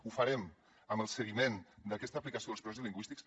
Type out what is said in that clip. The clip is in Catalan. ho farem amb el seguiment d’aquesta aplicació dels projectes lingüístics